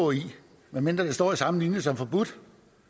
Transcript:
medmindre det står i samme linje som forbudt